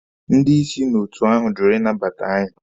Ndị isi n'otu ahụ jụrụ ịnabata anyị.